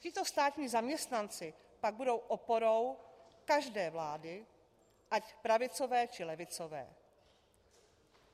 Tito státní zaměstnanci pak budou oporou každé vlády, ať pravicové, či levicové.